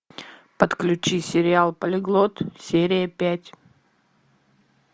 подключи сериал полиглот серия пять